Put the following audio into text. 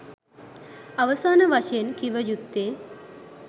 අවසාන වශයෙන් කිව යුත්තේ